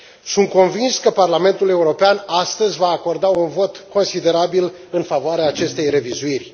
Sunt convins că Parlamentul European, astăzi, va acorda un vot considerabil în favoarea acestei revizuiri.